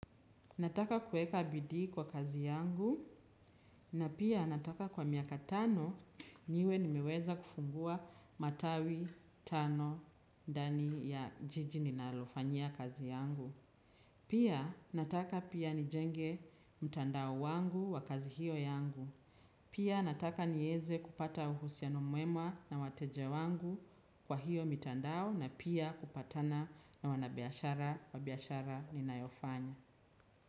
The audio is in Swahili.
Nataka kuweka bidii kwa kazi yangu na pia nataka kwa miaka tano niwe nimeweza kufungua matawi tano ndani ya jiji ninalofanya kazi yangu. Pia nataka pia nijenge mtandao wangu wa kazi hiyo yangu. Pia nataka nieze kupata uhusiano mwema na wateja wangu kwa hiyo mitandao na pia kupatana na wanabiashara wa biashara ninayofanya.